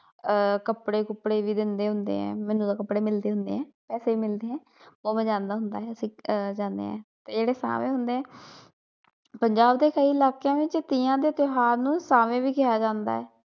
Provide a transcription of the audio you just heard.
ਆਹ ਕੱਪੜੇ ਕੁਪੜੇ ਵੀ ਦਿੰਦੇ ਹੁੰਦੇ ਏ ਮੈਨੂੰ ਤਾ ਕੱਪੜੇ ਮਿਲਦੇ ਹੁੰਦੇ ਏ ਪੈਸੇ ਵੀ ਮਿਲਦੇ ਏ ਉਹ ਮੈ ਜਾਂਦਾ ਹੁੰਦਾ ਹੀ ਜਾਣੇ ਆ ਜਿਹੜੇ ਸ਼ਾਵੇ ਹੁੰਦੇ ਪੰਜਾਬ ਦੇ ਕਈ ਇਲਾਕਿਆਂ ਚ ਤੀਆਂ ਦੇ ਤਿਉਹਾਰ ਨੂੰ ਸ਼ਾਵੇ ਵੀ ਕਿਹਾ ਜਾਂਦਾ ਏ।